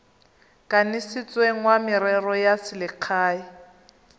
kanisitsweng wa merero ya selegae